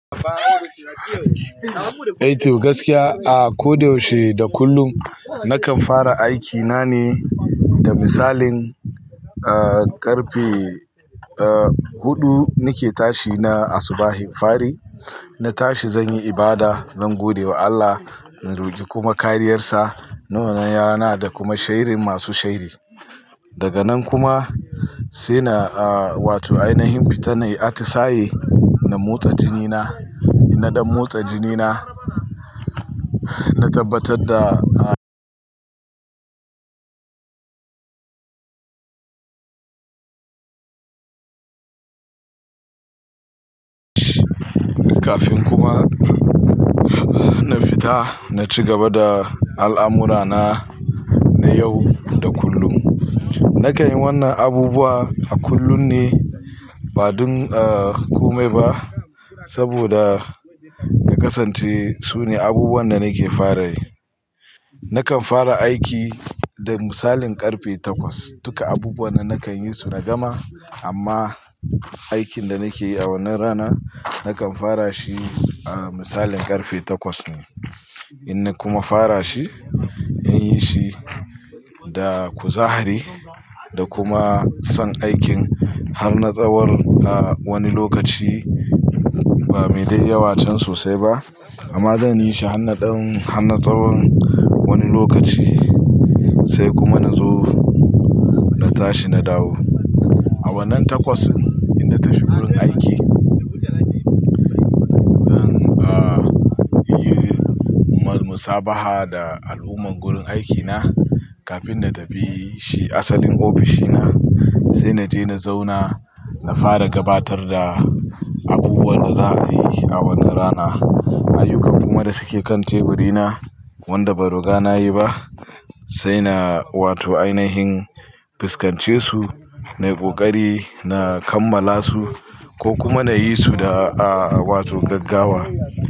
Eh toh gaskiya a koda yaushe da kullum na kan fara aiki nane da misalin karfe hudu nake tashi na asubahin fari na tashi zan yi ibada zan godewa Allah na roki kuma kariyarsa na wannan rana da kuma sharrin masu sharri daga nan kuma sai na ah wato ainihin fita nai atisaye na motsa jini na ina dan motsa jinina na tabbatar da kafin kuma na fita na ci gaba da al'amurana na yau da kullum. Nakan yi wannan abubuwa a kullum ne ba don ah komai ba saboda ya kasance sune abubuwan da nake fara yi. Nakan fara aiki da misalin karfe takwas. Duka abubuwan nan nakan yi su na gama amma aikin da nake yi a wannan rana nakan fara shi, ah, misalin karfe takwas ne. In na kuma fara shi, in yi shi da kuzari da kuma son aikin har na tsawon, ah, wani lokaci ba mai dai yawa can sosai ba amma zan yi shi har na ɗan, har na tsawon wani lokaci sai kuma na zo na tashi na dawo. A wannan takwas in na tafi wurin aiki, zan, ah, yi murmusa-baha da al'ummar gurin aikina kafin na tafi shi asalin ofishina. Sai na je na zauna, na fara gabatar da abubuwan da za a yi a wannan rana. Ayyukan kuma da suke kan teburina wanda ban ruga nayi ba sai na wato ai na him fiskance su, nai ƙoƙari na kammala su ko kuma na yi su da, ah, wato gaggawa.